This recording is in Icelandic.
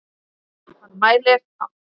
Hann mælir á alþjóða